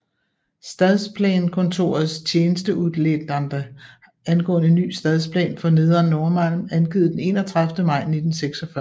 Stadsplanekontorets tjänsteutlåtande angående ny stadsplan för nedre Norrmalm avgivet den 31 maj 1946